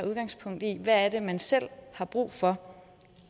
udgangspunkt i hvad man selv har brug for